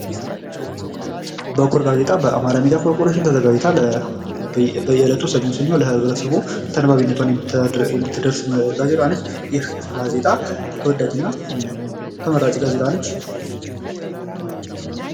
በኩር ጋዜጣ በአማራ ሚድያ ኮርፖሬሽን ተዘጋጅታ በየሳምንቱ ለብረተሰቡ የምትደርስ ጋዜጣ ነች ይቺ ጋዜጣ ተወዳጅና ተመራጭ ጋዜጣ ነች።